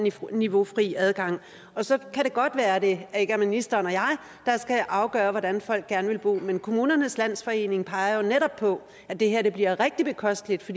niveaufri adgang så kan det godt være at det ikke er ministeren og jeg der skal afgøre hvordan folk skal bo men kommunernes landsforening peger jo netop på at det her bliver rigtig bekosteligt